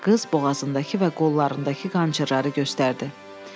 Qız boğazındakı və qollarındakı qançırları göstərdi.